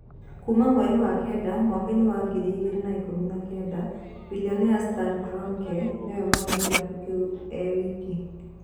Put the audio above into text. Kuuma mweri wa kenda, mwaikaini wa ngiri igĩrĩ na ikũmi na kenda, bilionea Stan Kroenke niwe mwene Kirabũ kiũ ewika